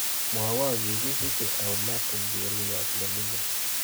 Mwawon kikisiche au martin cheruiyot neming'in